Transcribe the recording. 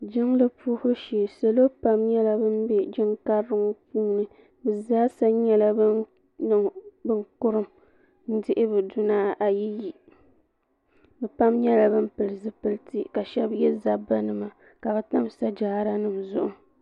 Jiŋli puhibu shee salo pam nyɛla bin bɛ jiŋ karili ŋɔ puuni bi zaa sa nyɛla bin kurum n dihi bi duna ayi yi bi pam nyɛla bin pili zipiliti ka shɛba yɛ zaba nima ka bi tam sajaara nima zuɣu.